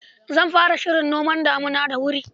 Zan fara shirin noman damina da wuri.